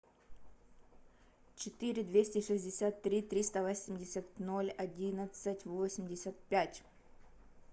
четыре двести шестьдесят три триста восемьдесят ноль одиннадцать восемьдесят пять